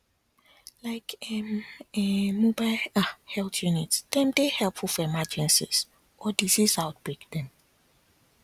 like [um][um]mobile ah health units dem dey helpful for emergencies or disease outbreak dem